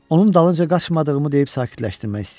Onun dalınca qaçmadığımı deyib sakitləşdirmək istəyirdim.